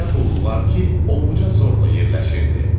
Elə hulular ki, ovuça zorla yerləşirdi.